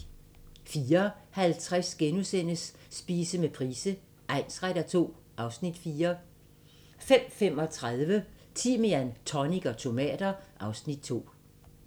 04:50: Spise med Price egnsretter II (Afs. 4)* 05:35: Timian, tonic og tomater (Afs. 2)